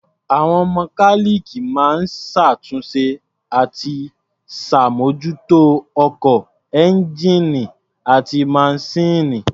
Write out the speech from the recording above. Àwọn mọkáníìkì máa ń ṣàtúnṣe àti ṣàbmójútó ọkọ̀, ẹ́ńgíìnì àti maṣíìnì.